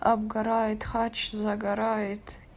обгорает хач загорает